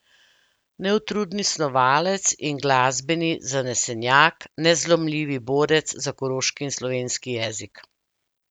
Neutrudni snovalec in glasbeni zanesenjak, nezlomljivi borec za koroški in slovenski jezik.